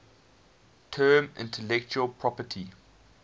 term intellectual property